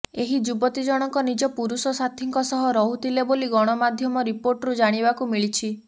ଏହି ଯୁବତୀ ଜଣକ ନିଜ ପୁରୁଷ ସାଥୀଙ୍କ ସହ ରହୁଥିଲେ ବୋଲି ଗଣମାଧ୍ୟମ ରିପୋର୍ଟରୁ ଜାଣିବାକୁ ମିଳିଛି